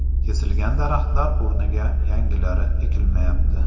Kesilgan daraxtlar o‘rniga yangilari ekilmayapti.